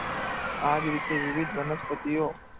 આ જ રીતે, વિવિધ વનસ્પતિઓ